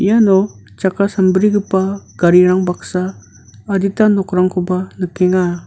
iano chakka sambrigipa garirang baksa adita nokrangkoba nikenga.